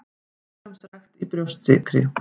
Líkamsrækt í Brjóstsykri